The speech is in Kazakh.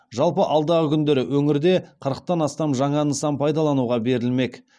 жалпы алдағы күндері өңірде қырықтан астам жаңа нысан пайдалануға берілмек